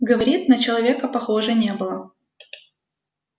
говорит на человека похоже не было